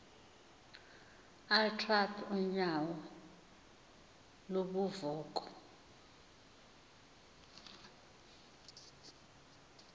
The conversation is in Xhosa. utrath unyauo lubunvoko